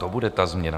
To bude ta změna!